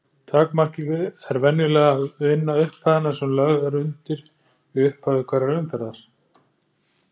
Takmarkið er venjulega að vinna upphæðina sem lögð er undir í upphafi hverrar umferðar.